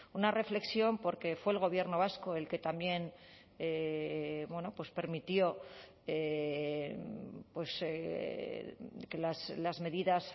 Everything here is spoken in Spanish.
una reflexión porque fue el gobierno vasco el que también bueno pues permitió que las medidas